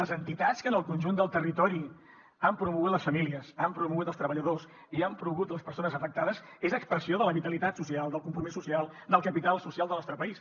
les entitats que en el conjunt del territori han promogut les famílies han promogut els treballadors i han promogut les persones afectades és expressió de la vitalitat social del compromís social del capital social del nostre país